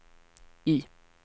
I